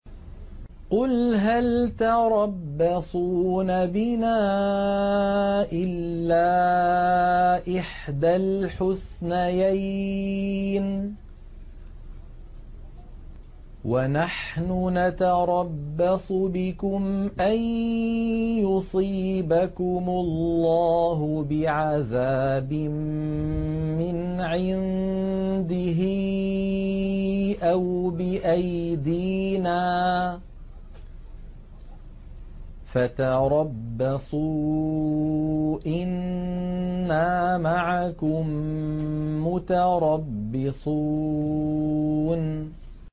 قُلْ هَلْ تَرَبَّصُونَ بِنَا إِلَّا إِحْدَى الْحُسْنَيَيْنِ ۖ وَنَحْنُ نَتَرَبَّصُ بِكُمْ أَن يُصِيبَكُمُ اللَّهُ بِعَذَابٍ مِّنْ عِندِهِ أَوْ بِأَيْدِينَا ۖ فَتَرَبَّصُوا إِنَّا مَعَكُم مُّتَرَبِّصُونَ